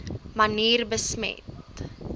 manier besmet